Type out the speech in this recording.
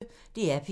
DR P1